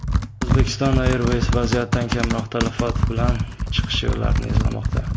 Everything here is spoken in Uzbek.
Uzbekistan Airways vaziyatdan kamroq talafot bilan chiqish yo‘llarini izlamoqda.